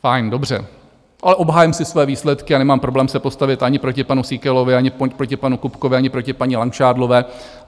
Fajn, dobře, ale obhájím si své výsledky a nemám problém se postavit ani proti panu Síkelovi, ani proti panu Kupkovi, ani proti paní Langšádlové.